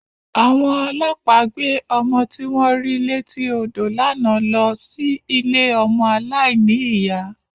Àwọn ọlọ́pàá gbé ọmọ tí wọ́n rí létí odò lánàá lọ sí ilé ọmọ aláìní ìyá.